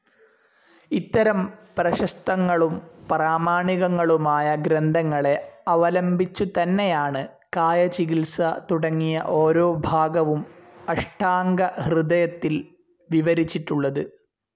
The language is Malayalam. ഇത്തരം പ്രശസ്തങ്ങളും പ്രാമാണികങ്ങളുമായ ഗ്രന്ഥങ്ങളെ അവലംബിച്ചുതന്നെയാണ് കായചികിത്സ തുടങ്ങിയ ഓരോ ഭാഗവും അഷ്ടാംഗഹൃദയത്തിൽ വിവരിച്ചിട്ടുള്ളത്.